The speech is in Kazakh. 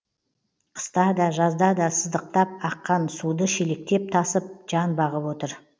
қыста да жазда да сыздықтап аққан суды шелектеп тасып жан бағып отыр